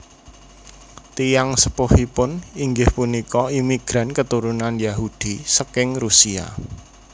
Tiyang sepuhipun inggih punika imigran keturunan Yahudi saking Rusia